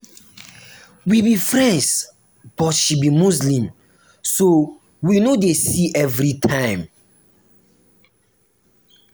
we be friends but she be muslim so we no dey see every time